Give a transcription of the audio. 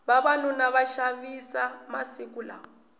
vavanuna va xavisa masiku lawa